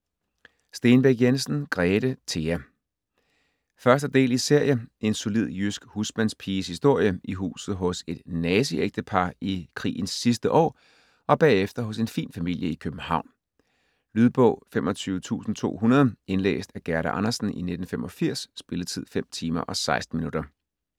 Stenbæk Jensen, Grete: Thea 1. del i serie. En solid, jysk husmandspiges historie, i huset hos et nazistægtepar i krigens sidste år, og bagefter hos en fin familie i København. Lydbog 25200 Indlæst af Gerda Andersen, 1985. Spilletid: 5 timer, 16 minutter.